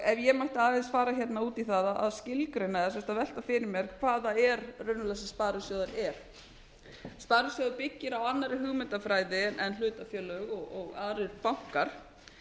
ef ég mætti aðeins fara hérna út í það að skilgreina sem sagt að velta fyrir mér hvað það er raunverulega sem sparisjóður er sparisjóður byggir á annarri hugmyndafræði en hlutafélög og aðrir bankar